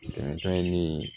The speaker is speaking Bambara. Dankari ne ye